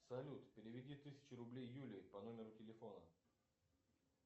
салют переведи тысячу рублей юле по номеру телефона